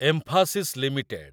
emphasis limited